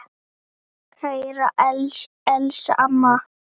Kæra Elsa amma.